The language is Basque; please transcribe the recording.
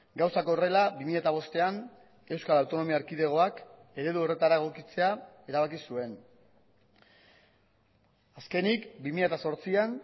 gauzak horrela bi mila bostean euskal autonomia erkidegoak eredu horretara egokitzea erabaki zuen azkenik bi mila zortzian